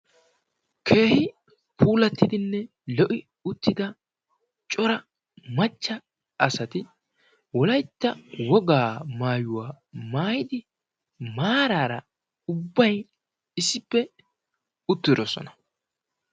keehi puulattidinne lo77i uttida cora macca asati wolaytta wogaa maayuwaa maayidi maaraara ubbay issippe uttidosona.